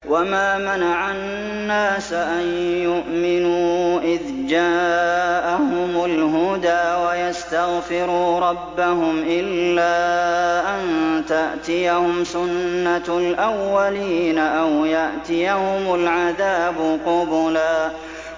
وَمَا مَنَعَ النَّاسَ أَن يُؤْمِنُوا إِذْ جَاءَهُمُ الْهُدَىٰ وَيَسْتَغْفِرُوا رَبَّهُمْ إِلَّا أَن تَأْتِيَهُمْ سُنَّةُ الْأَوَّلِينَ أَوْ يَأْتِيَهُمُ الْعَذَابُ قُبُلًا